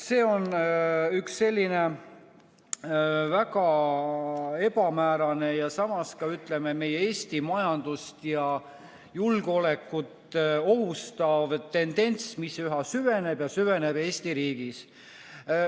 See on üks selline väga ebamäärane ja samas ka meie Eesti majandust ja julgeolekut ohustav tendents, mis üha süveneb ja süveneb Eesti riigis.